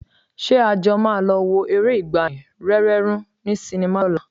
Ṣé a jọ máa lọ wo eré ìgbàanì, Rẹ́rẹ́ Rún ní sinimá lọ́la?